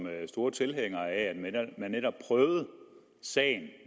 store tilhængere af at man netop prøvede sagen